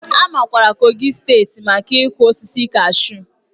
A makwaara Kogi steeti maka ịkụ osisi kashu.